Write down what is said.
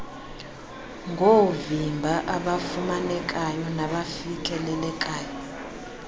ngoovimba obafumanekayo nabafikelelekayo